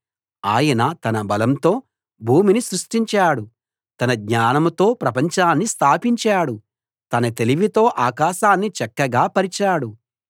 ఆయన తన బలంతో భూమిని సృష్టించాడు తన జ్ఞానంతో ప్రపంచాన్ని స్థాపించాడు తన తెలివితో ఆకాశాన్ని చక్కగా పరిచాడు